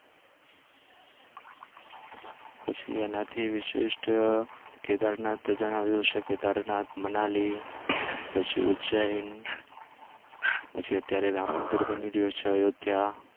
પછી એનાથી વિશિષ્ટ કેદારનાથ આવ્યુ છે. કેદારનાથ, મનાલી, પછી ઉજ્જૈન, પછી અત્યારે રામ મંદિર બની રહ્યું છે અયોધ્યા